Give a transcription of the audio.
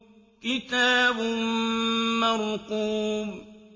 كِتَابٌ مَّرْقُومٌ